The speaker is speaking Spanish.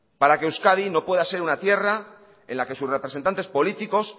para que euskadi no pueda ser una tierra en la que sus representantes políticos